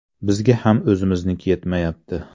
Bizga ham o‘zimizniki yetmayapti.